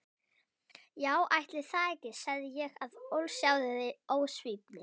Já ætli það ekki, sagði ég af ósjálfráðri ósvífni.